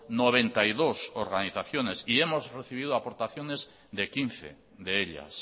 noventa y dos organizaciones y hemos recibido aportaciones de quince de ellas